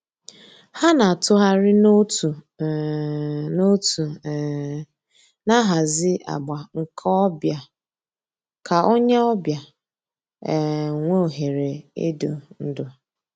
Hà nà-àtụ̀ghàrì n'òtù um n'òtù um nà-àhàzì àgbà nke ò bịa kà ònyè ọ̀ bịa um nwee òhèrè ídù ndú.